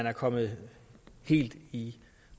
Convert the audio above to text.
er kommet helt i